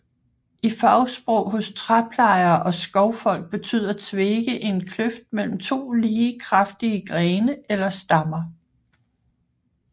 I fagsprog hos træplejere og skovfolk betyder tvege en kløft mellem to lige kraftige grene eller stammer